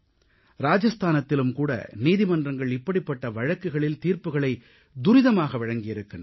ராஜஸ்தானத்திலும் கூட நீதிமன்றங்கள் இப்படிப்பட்ட வழக்குகளில் தீர்ப்புகளைத் துரிதமாக வழங்கியிருக்கின்றன